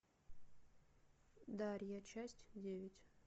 дарья часть девять